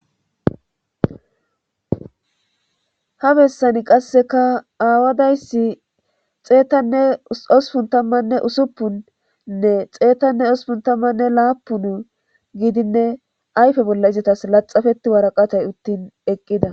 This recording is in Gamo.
ha bessani qasseka aawadayssi xeetanne osupun tammanne usuppunnne xeetanne ospuntammanne laapun gidinne ayfe bolla izatas laxafeti waraqatay uttin eqqida